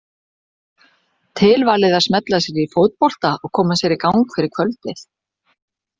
Tilvalið að smella sér í fótbolta og koma sér í gang fyrir kvöldið.